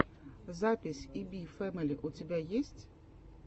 запись и би фэмили у тебя есть